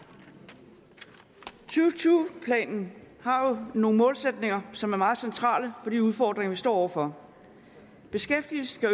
tyve planen har jo nogle målsætninger som er meget centrale for de udfordringer vi står over for beskæftigelsen